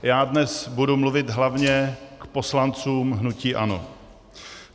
Já dnes budu mluvit hlavně k poslancům hnutí ANO.